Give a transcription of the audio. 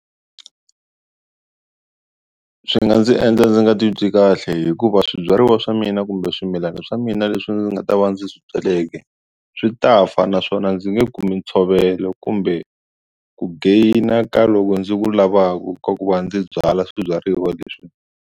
Swi nga ndzi endla ndzi nga titwi kahle hikuva swibyariwa swa mina kumbe swimilana swa mina leswi ndzi nga ta va ndzi swi byaleke swi ta fa naswona ndzi nge kumi ntshovelo kumbe ku gain-a ka loko ndzi ku lavaku ka ku va ndzi byala swibyariwa leswi.